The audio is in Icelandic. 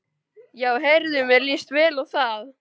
Já heyrðu, mér líst vel á það!